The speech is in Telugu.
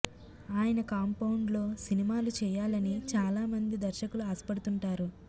ఆయన కాంపౌండ్లో సినిమాలు చేయాలని చాలా మంది దర్శకులు ఆశపడుతుంటారు